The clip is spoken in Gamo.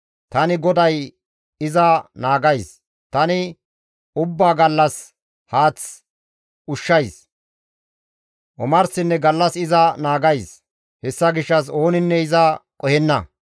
Tani GODAY iza naagays; tani ubbaa gallas haath ushshays; omarsinne gallas iza naagays; hessa gishshas ooninne iza qohenna.